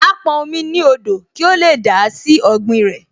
Á pọn omi ní odò kí ó lè dà á sí ọ̀gbìn rẹ̀